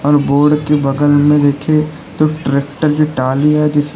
और बोर्ड के बगल में रखें तो ट्रैक्टर की ट्राली है जिसमें--